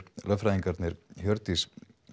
lögfræðingarnir Hjördís